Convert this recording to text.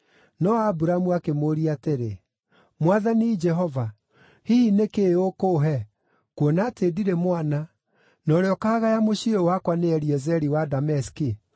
No Aburamu akĩmũũria atĩrĩ, “Mwathani Jehova, hihi nĩ kĩĩ ũkũũhe, kuona atĩ ndirĩ mwana, na ũrĩa ũkaagaya mũciĩ ũyũ wakwa nĩ Eliezeri wa Dameski?”